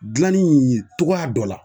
Gilanni cogoya dɔ la